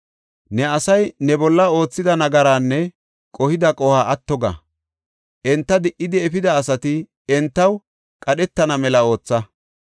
Ne asay ne bolla oothida nagaraanne qohida qohuwa atto ga; enta di77idi efida asati entaw qadhetana mela ootha.